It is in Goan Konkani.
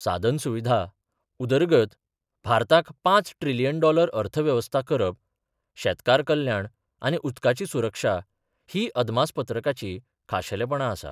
सादनसुविधा उदरगत, भारताक पांच ट्रिलियन डॉलर अर्थव्यवस्था करप, शेतकार कल्याण आनी उदकाची सुरक्षा हिं अदमासपत्रकाची खाशेलेपणा आसा.